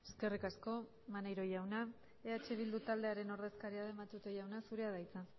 eskerrik asko maneiro jauna eh bildu taldearen ordezkaria den matute jauna zurea da hitza